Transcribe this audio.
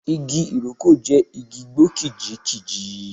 Igi Ìrókò jẹ́ igi igbó kìjikìji.